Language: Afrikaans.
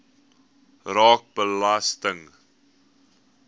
raak belasting